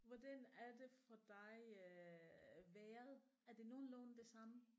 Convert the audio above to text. Hvordan er det for dig øh vejret er det nogenlunde det samme